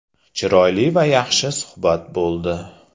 Chiroyli va yaxshi suhbat bo‘ldi.